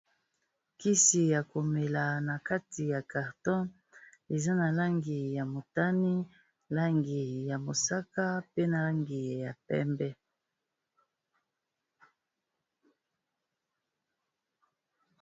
Kisi ya komela na kati ya carton eza na langi ya motani langi ya mosaka pe na langi ya pembe.